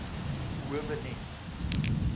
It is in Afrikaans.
howe net